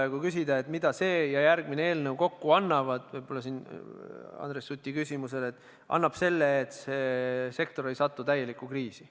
Ja kui küsida, mida see ja järgmine eelnõu kokku annavad – võib-olla annab see vastuse Andres Suti küsimusele –, siis annab selle, et kogu sektor ei satu täielikku kriisi.